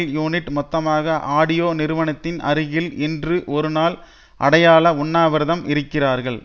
unit மொத்தமாக audio நிறுவனத்தின் அருகில் இன்று ஒருநாள் அடையாள உண்ணாவிரதம் இருக்கிறார்கள்